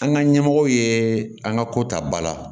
An ka ɲɛmɔgɔw ye an ka ko ta ba la